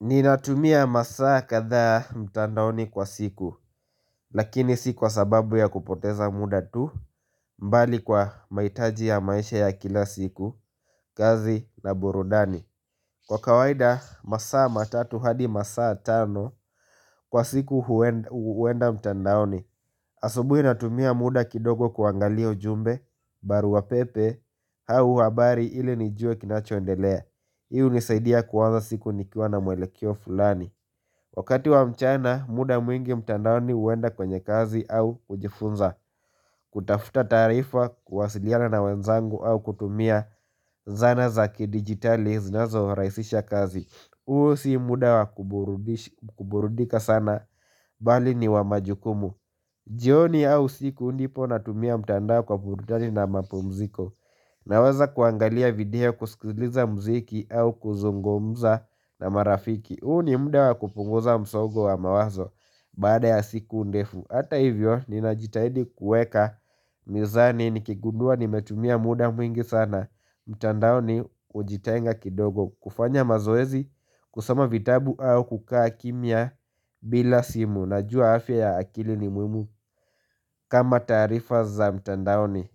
Ninatumia masaa kathaa mtandaoni kwa siku Lakini si kwa sababu ya kupoteza muda tu mbali kwa mahitaji ya maisha ya kila siku kazi na burudani Kwa kawaida masaa matatu hadi masaa tano Kwa siku huenda mtandaoni Asubuhi natumia muda kidogo kuangalia ujumbe barua pepe au habari ili nijue kinachoendelea hii hunisaidia kuanza siku nikiwa na mwelekeo fulani Wakati wa mchana muda mwingi mtandaoni huwenda kwenye kazi au kujifunza kutafuta taarifa kuwasiliana na wenzangu au kutumia zana za kidigitali zinazo rahisisha kazi huo si muda wa kuburudika sana bali ni wa majukumu jioni au usiku ndipo natumia mtandao kwa burudani na mapumziko Naweza kuangalia video kusikiliza mziki au kuzungumza na marafiki huu ni mda wa kupunguza msongo wa mawazo baada ya siku ndefu Hata hivyo ninajitahidi kuweka mizani nikigundua nimetumia muda mwingi sana mtandaoni hujitenga kidogo kufanya mazoezi kusoma vitabu au kukaa kimya bila simu Najua afya ya akili ni muhimu kama taarifa za mtandaoni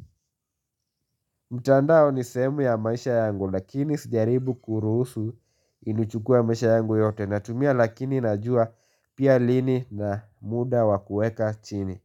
mtandao ni sehemu ya maisha yangu lakini sijaribu kuruhusu inichukue maisha yangu yote Natumia lakini najua pia lini na muda wa kuweka chini.